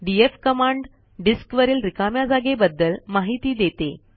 DF command disk वरील रिकाम्या जागेबद्दल माहिती देते